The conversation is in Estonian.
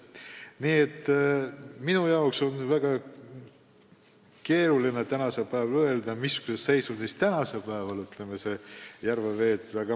Nii et mul on väga keeruline tänasel päeval öelda, missuguses seisundis praegu Peipsi vesi on.